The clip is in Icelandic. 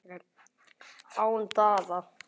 Án Daða og Sunnlendinga eygi ég enga von!